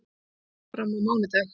Umræðan fer fram á mánudag.